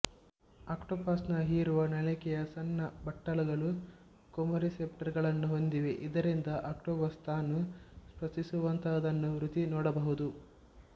octopus ನ ಹೀರುವ ನಳಿಕೆಯ ಸಣ್ಣ ಬಟ್ಟಲುಗಳು ಕೆಮೊರೆಸೆಪ್ಟರ್ ಗಳನ್ನು ಹೊಂದಿವೆ ಇದರಿಂದ ಆಕ್ಟೋಪಸ್ ತಾನು ಸ್ಪರ್ಶಿಸುವಂತಹದ್ದನ್ನು ರುಚಿ ನೋಡಬಹುದು